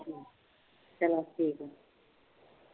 ਚਲੋ ਠੀਕ